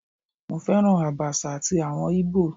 Mo féràn Àbàṣà ti àwọn Ìgbò.